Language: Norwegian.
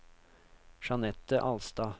Jeanette Alstad